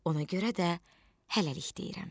Ona görə də hələlik deyirəm.